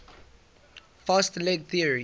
fast leg theory